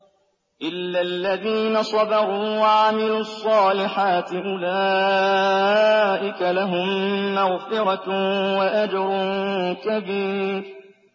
إِلَّا الَّذِينَ صَبَرُوا وَعَمِلُوا الصَّالِحَاتِ أُولَٰئِكَ لَهُم مَّغْفِرَةٌ وَأَجْرٌ كَبِيرٌ